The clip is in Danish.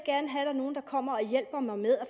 kommer og hjælper mig med at